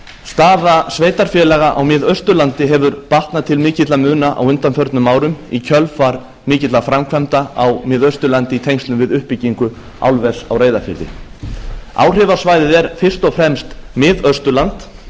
staða sveitarfélaga á mið austurlandi hefur batnað til mikilla muna á undanförnum árum í kjölfar mikilla framkvæmda á mið austurlandi í tengslum við uppbyggingu álvers á reyðarfirði áhrifasvæðið er fyrst og fremst mið austurland